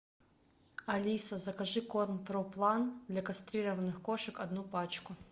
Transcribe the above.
алиса закажи корм проплан для кастрированных кошек одну пачку